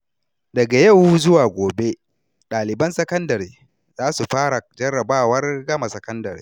Daga yau zuwa gobe, ɗaliban sakandare za su fara jarrabawar gama sakandare.